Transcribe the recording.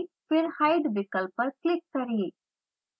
फिर hide विकल्प पर क्लिक करें